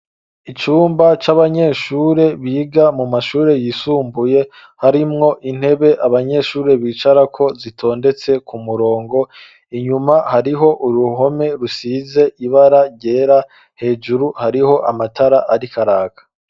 Icumba c'abanyeshuri biga mu mashuri yisumbuye, harimwo intebe abanyeshuri bicarako, zitondetse ku murongo, inyuma hariho uruhome rusize ibara ryera, hejuru hariho amatara ariko araka.